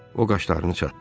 O qaşlarını çatdı.